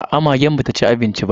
Aa, magen ba ta ci abincin ba.